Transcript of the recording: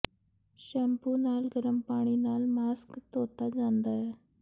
shampoo ਨਾਲ ਗਰਮ ਪਾਣੀ ਨਾਲ ਮਾਸਕ ਧੋਤਾ ਜਾਂਦਾ ਹੈ